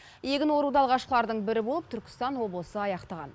егін оруды алғашқылардың бірі болып түркістан облысы аяқтаған